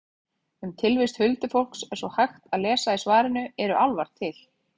Um tilvist huldufólks er svo hægt að lesa í svarinu Eru álfar til?